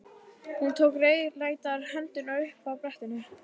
Hún tók rauðleitar hendurnar upp af brettinu.